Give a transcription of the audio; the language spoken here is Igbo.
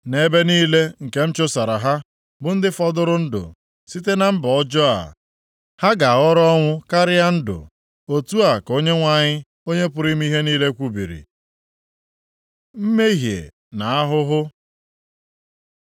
Nʼebe niile nke m chụsara ha, bụ ndị fọdụrụ ndụ site na mba ọjọọ a, ha ga-ahọrọ ọnwụ karịa ịdị ndụ. Otu a ka Onyenwe anyị, Onye pụrụ ime ihe niile kwubiri.’ Mmehie na ahụhụ